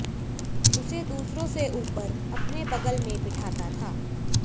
उसे दूसरों से ऊपर अपने बग़ल में बिठाता था